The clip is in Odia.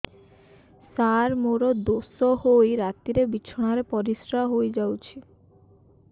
ସାର ମୋର ଦୋଷ ହୋଇ ରାତିରେ ବିଛଣାରେ ପରିସ୍ରା ହୋଇ ଯାଉଛି